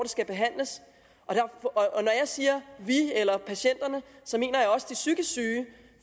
skal behandles når jeg siger vi eller patienterne mener jeg også de psykisk syge